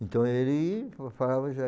Então, ele fa falava